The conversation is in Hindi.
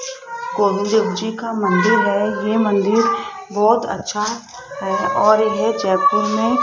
गोविंद जी का मंदिर है ये मंदिर बहोत अच्छा है और यह जयपुर में